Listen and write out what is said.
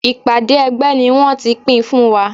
Ìpàdé ẹgbẹ́ ni wón ti pín ipanu fún wa.